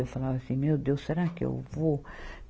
E eu falava assim, meu Deus, será que eu vou?